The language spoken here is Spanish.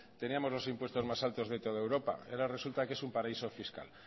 teníamos los impuestos más altos de toda europa y ahora resulta que es un paraíso fiscal